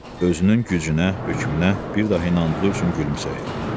Özünün gücünə, hökmünə bir daha inandığı üçün gülümsəyir.